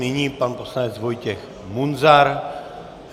Nyní pan poslanec Vojtěch Munzar.